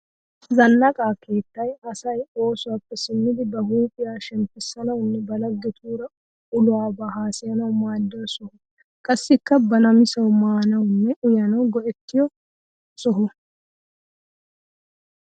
Zannaqa keettay asay oosuwappe simmidi ba huuphiya shemppissanawunne ba laggetuura ulobaa hassayanawu maaddiya soho. Qassikka ba namisawu maanawunne uyanawu go'ettiyo soho.